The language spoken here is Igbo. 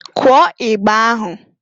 Kụọ igba ahụ!